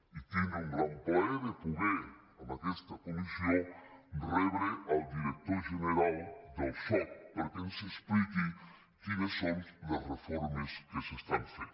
i tindre el gran plaer de poder en aquesta comissió rebre el director general del soc perquè ens expliqui quines són les reformes que s’estan fent